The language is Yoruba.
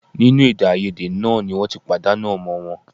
Nínú èdèàìyedè náà ni wọ́n ti pàdánù ọmọ wọn